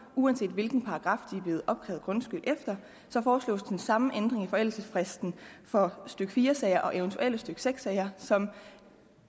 uanset hvilken paragraf de er blevet opkrævet grundskyld efter foreslås den samme ændring i forældelsesfristen for stykke fire sager og eventuelle stykke seks sager som